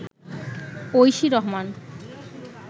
Oishi Rahman